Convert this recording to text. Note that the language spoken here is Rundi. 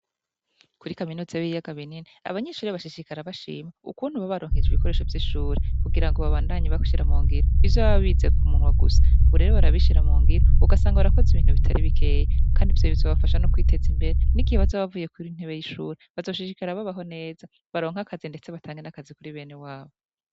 Kuri kaminuza y'ibiyaga binini abanyeshure bashishikara bashima ukuntu babaronkeje ibikoresho vy'ishure kugira ngo babandanye bashira mungiro ivyo baba bize ku munwa gusa ubu rero barabishira mu ngiro ugasanga barakoze ibintu bitari bikeye, kandi vyo bizo bafasha no kwiteza imbere n'igihe bazo bavuye ku ntebe y'ishuri bazo shishikara babaho neza baronke akazi, ndetse batange n'akazi kuri bene wabo.